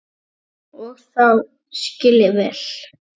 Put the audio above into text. Og það skil ég vel.